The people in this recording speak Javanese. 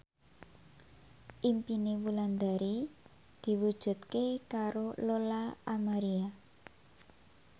impine Wulandari diwujudke karo Lola Amaria